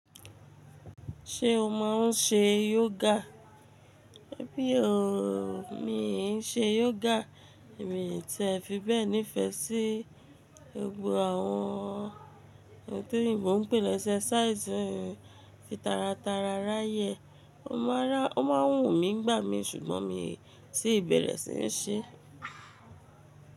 Ṣé o máa ń ṣe yoga? Mi o, mi ì ń ṣe yoga, mi tì ẹ fi bẹ́ẹ̀ nífẹ̀ẹ́ sí gbogbo àwọn ohun tí eyinbo n pè l'ẹ́ṣẹ́ẹ̀sàísì mi fi tara tara ráyè. O máa ń wù mí nigbà mí ṣùgbọ́n mi ti bẹ̀rẹ̀ sí í ṣe.